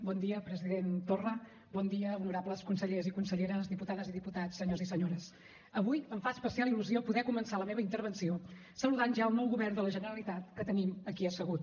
bon dia president torra bon dia honorables consellers i conselleres diputades i diputats senyors i senyores avui em fa especial il·lusió poder començar la meva intervenció saludant ja el nou govern de la generalitat que tenim aquí assegut